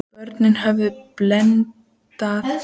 Börnin höfðu blendnar tilfinningar gagnvart skólanum.